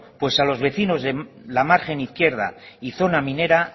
pues a los vecinos de la margen izquierda y zona minera